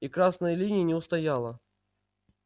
и красная линия не устояла